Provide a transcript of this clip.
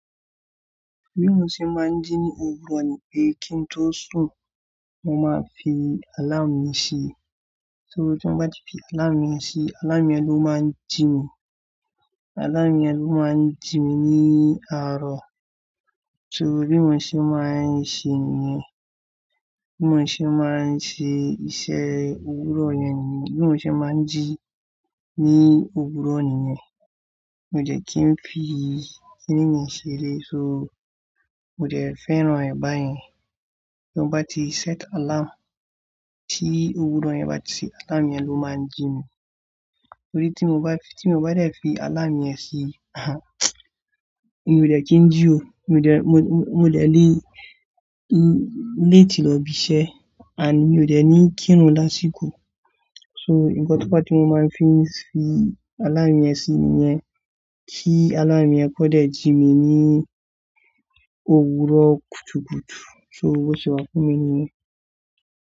Bi mo ṣe máa ń jí ní òwúrọ̀ ni pé kí n tó sùn, mo máa fi àláàmù yẹn sí i. So tí mo bá ti fi àláàmù yẹn sí i, àláàmù yẹn ló máa ń jí mi, àláàmù yẹn ló máa ń jí mi ní àárọ̀. So bí mo ṣe máa ń ṣe nìyẹn, bí mo ṣe máa ń ṣe iṣẹ́ òwúrọ̀ yẹn ni, bí mo ṣe máa ń jí ní òwúrọ̀ nìyẹn. Mi ò dẹ̀ kí n fi e kinì mi ṣere. So mi ò dẹ̀ fẹ́ràn ẹ̀ báyẹn. Tí mo bá ti set àláàmù tí òwúrọ̀ yẹn bá ti ṣí, àláàmù yẹn ló máa ń jí mi. Torí tí mo bá, tí mo bá dẹ̀ fi àláàmù yẹn sí, ahan mi ò dẹ̀ kí ń jí o. Mi ò jẹ̀, mi, mi, mi ò dẹ̀ lé, late lọ ibi iṣẹ́ and mi ò dẹ̀ ní kírun lásìkò. So nǹkan tó ba tí mo máa ń fi ṣe àláàmù yẹn sí nìyẹn, kí àláàmù yẹn kó jẹ̀ jí mi ní òwúrọ̀ kùtùkùtù. So bó ṣe wà fún mi nìyẹn.